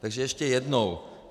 Takže ještě jednou.